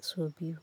sau biyu.